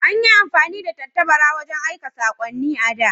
An yi amfani da tattabara wajen aika sakonni a da.